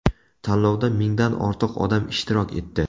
Tanlovda mingdan ortiq odam ishtirok etdi.